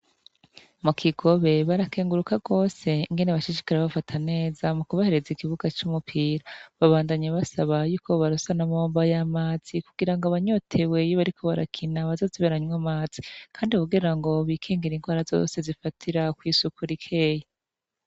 Mu kigobe barakenguruka rwose ngene bashishikara bafata neza mu kubahereza igibuga c'umupira babandanye basaba yuko barasanamomba y'amazi kugira ngo banyoteweyibe ari ko barakina bazazi baranywamazi, kandi kugira ngo bikingira indwara zose zifatira kw'isukura ikeye.